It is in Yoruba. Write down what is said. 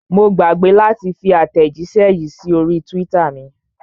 Mo gbàgbé láti fi àtẹ̀jíṣẹ́ yìí sí orí twitter mi.